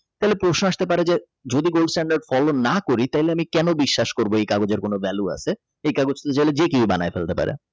তাহলে প্রশ্ন আসতে পারে যে যদি Gold stand follow না করি তাহলে আমি কেন বিশ্বাস করব এই কাগজের কোন ভ্যালু আছে এই কাগজটি চাইলে যে কেউ বানাই ফেলতে পারে।